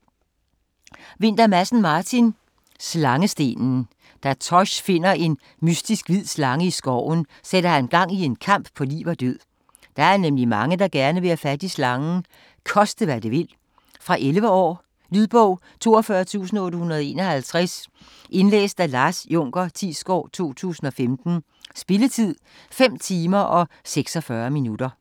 Vinther Madsen, Martin: Slangestenen Da Tosh finder en mystisk hvid slange i skoven, sætter han gang i en kamp på liv og død. Der er nemlig mange, der gerne vil have fat i slangen. Koste hvad det vil. Fra 11 år. Lydbog 42851 Indlæst af Lars Junker Thiesgaard, 2015. Spilletid: 5 timer, 46 minutter.